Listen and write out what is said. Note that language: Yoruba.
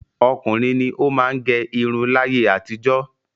Ọkùnrin ni ó má ń gẹ irun láyé àtijọ́.